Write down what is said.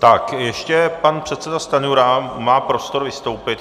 Tak ještě pan předseda Stanjura má prostor vystoupit.